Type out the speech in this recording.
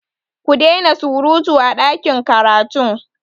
Ku dai na surutu a ɗakin karatun!